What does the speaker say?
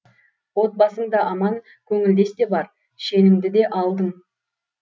отбасың да аман көңілдес те бар шеніңді де алдың